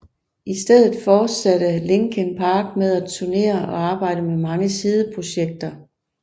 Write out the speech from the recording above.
I stedet fortsatte Linkin Park med at turnere og arbejde med mange sideprojekter